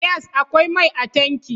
Yes, akwai mai a tankin